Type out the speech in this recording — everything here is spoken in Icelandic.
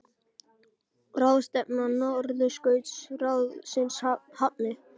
Ráðstefna Norðurskautsráðsins hafin